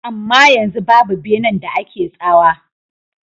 Amma yanzu babu benan da ake tsawa.